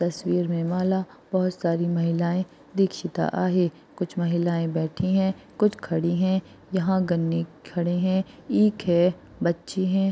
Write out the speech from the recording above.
तस्वीर मे माला बहुतसारी महिलाए दीक्षिता है कुछ महिलाए बैठी है कुछ खड़े है यहा गन्ने खड़े है ईख है बच्चे है।